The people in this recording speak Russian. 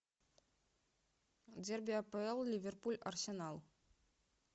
дерби апл ливерпуль арсенал